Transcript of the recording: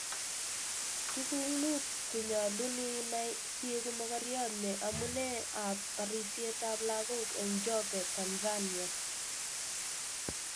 Tuguk mut chenyalun inai sieku mogoriot ne amune ab barisiet ab lagok eng Njombe, Tanzania?